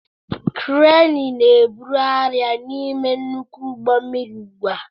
Kreenị na-ebuli arịa n'ime nnukwu ụgbọ mmiri ugbu a.